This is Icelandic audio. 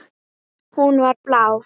Hún var blá.